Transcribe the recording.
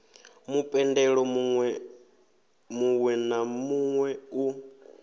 mupendelo muwe na muwe u